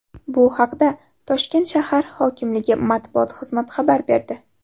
bu haqda Toshkent shahr hokimligi matbuot xizmati xabar berdi.